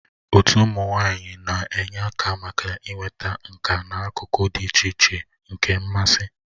Otu ụmụ nwanyị na-enye aka maka inweta nka n'akụkụ dị iche iche nke mmasị.